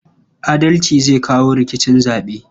Adalci zai kawo sauƙin rikicin zaɓe.